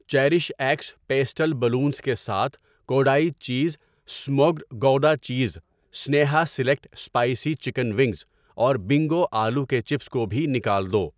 Cherish x pastel balloons کے ساتھ Kodai cheese smoked gouda cheese, Sneha select spicy chicken wings اور Bingo آلو کے چپس کو بھی نکال دو۔